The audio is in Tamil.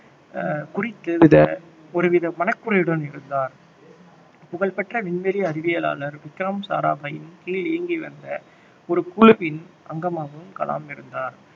அஹ் குறித்து வித ஒரு வித மனக்குறையுடன் இருந்தார் புகழ்பெற்ற விண்வெளி அறிவியலாளர் விக்ரம் சாராபாயின் கீழ் இயங்கி வந்த ஒரு குழுவின் அங்கமாகவும் கலாம் இருந்தார்